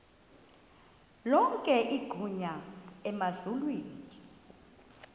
lonke igunya emazulwini